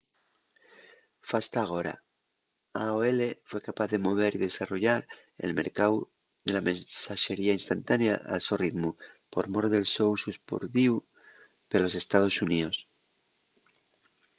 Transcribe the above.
fasta agora aol fue capaz de mover y desarrollar el mercáu de la mensaxería instantánea al so ritmu por mor del so usu espardíu pelos estaos xuníos